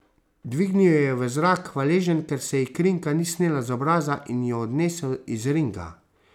Dvignil jo je v zrak, hvaležen, ker se ji krinka ni snela z obraza, in jo odnesel iz ringa.